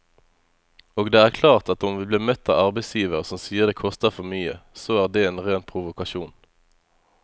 Og det er klart at om vi blir møtt av arbeidsgivere som sier det koster for mye, så er det en ren provokasjon.